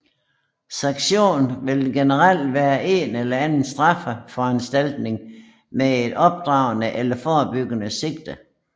Sanktion vil generelt være en eller anden straffeforanstaltning med et opdragende eller forebyggende sigte